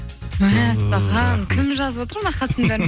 мәссаған кім жазып отыр мына хаттың